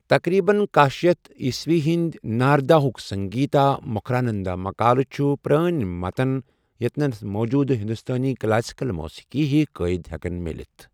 تقریباً کاہ شیتھ عیسوی ہنٛدۍ ناردا ہُک سنگیتا مکراندھا مقالہٕ چھِ پرٲنۍ متن یتٮ۪ن موجوٗدٕ ہندوستٲنی کلاسیکل موسیٖقی ہیوۍ قٲیدٕ ہیکَن مِلتھ ۔